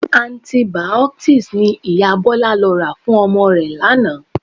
Antibiotics ni Ìyá Bọlá lọ rà fún ọmọ rẹ̀ lánàá